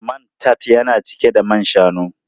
Man tart yana cike da man shanu.